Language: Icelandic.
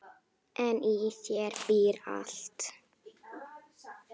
En í þér býr allt.